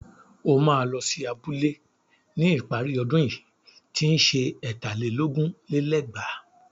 O máa lọ sí abúlé ní ìparí ọdún yìí tí ń ṣe ẹ̀tà lé lógún lé lẹ́gbàá.